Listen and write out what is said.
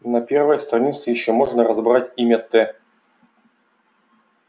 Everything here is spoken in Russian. на первой странице ещё можно разобрать имя т